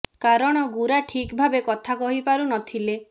କାରଣ ଗୁରା ଠିକ୍ ଭାବେ କଥା କହିପାରୁ ନ ଥିଲେ